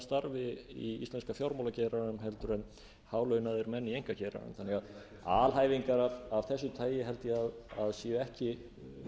starfi í íslenska fjármálageiranum en hálaunaðir menn í einkageiranum þannig að alhæfingar af þessu tagi held ég að séu ekki